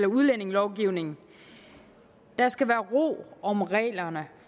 udlændingelovgivning der skal være ro om reglerne